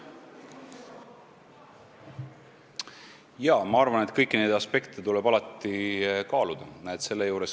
Jaa, ma arvan, et kõiki neid aspekte tuleb kaaluda.